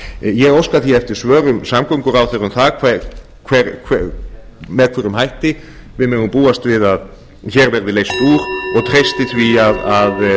ég óska því eftir svörum samgönguráðherra um það með hvaða hætti við megum búast við að hér verði leyst úr og treysti því að